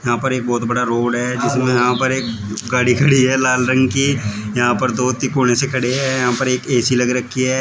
यहां पर एक बहुत बड़ा रोड है जिसमें यहां पर एक गाड़ी खड़ी है लाल रंग की यहां पर दो तिकोने जैसे खड़े हैं यहां पर एक ए_सी लग रखी है।